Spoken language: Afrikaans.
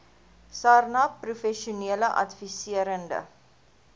sarnap professionele adviserende